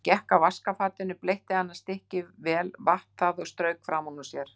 Hann gekk að vaskafatinu, bleytti annað stykkið vel, vatt það og strauk framan úr sér.